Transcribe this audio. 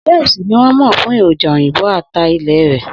Schweppes ni wọ́n mọ̀ fún èròjà òyìnbó ata ilẹ̀ rẹ̀.